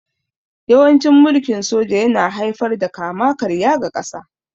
Yawancin mulkin soja yana haifar da kama-karya ga ƙasa